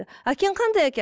әкең қандай әке